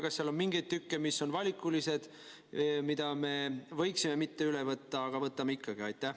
Kas seal on mingeid tükke, mis on valikulised, mida me võiksime mitte üle võtta, aga võtame ikkagi?